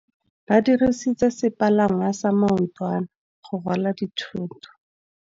Ba dirisitse sepalangwasa maotwana go rwala dithôtô.